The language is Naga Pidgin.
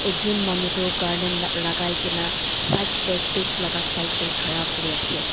ekjun manu toh garland la lagai kena side te stage laga side te khara kure ase.